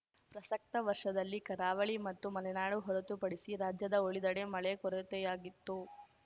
ಪ್ರಸಕ್ತ ವರ್ಷದಲ್ಲಿ ಕರಾವಳಿ ಮತ್ತು ಮಲೆನಾಡು ಹೊರತುಪಡಿಸಿ ರಾಜ್ಯದ ಉಳಿದೆಡೆ ಮಳೆ ಕೊರತೆಯಾಗಿತ್ತು